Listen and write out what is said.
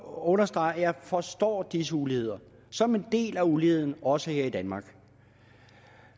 understrege at jeg forstår disse uligheder som en del af uligheden også her i danmark